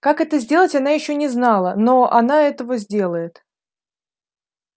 как это сделать она ещё не знала но она этого сделает